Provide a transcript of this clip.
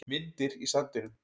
Myndir í sandinum